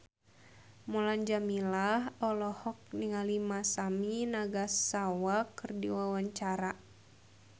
Mulan Jameela olohok ningali Masami Nagasawa keur diwawancara